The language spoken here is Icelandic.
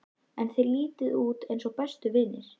En þið lítið út eins og bestu vinir?